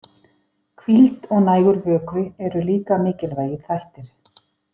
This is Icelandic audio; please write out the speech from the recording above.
Hvíld og nægur vökvi eru líka mikilvægir þættir.